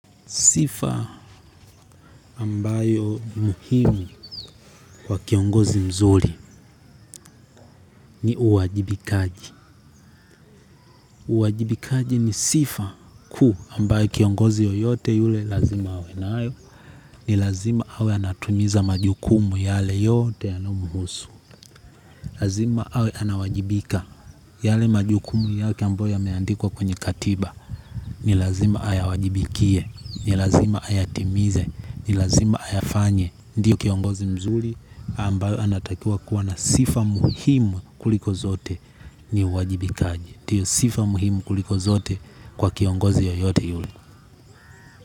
Sifa ambayo muhimu kwa kiongozi mzuri ni uwajibikaji. Uwajibikaji ni sifa kuu ambayo kiongozi yoyote yule lazima awe nayo. Ni lazima awe anatimiza majukumu yale yote yanayomuhusu. Lazima awe anawajibika yale majukumu yake ambayo yameandikwa kwenye katiba. Uwajibikaji ni sifa kuu ambayo kiongozi yoyote yule lazima awe nayo. Ni lazima awe anatimiza majukumu yale yote yanayomuhusu. Ndio kiongozi mzuri ambayo anatakiwa kuwa na sifa muhimu kuliko zote ni uwajibikaji ndio sifa muhimu kuliko zote kwa kiongozi yeyote yule.